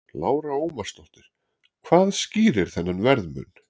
Lára Ómarsdóttir: Hvað skýrir þennan verðmun?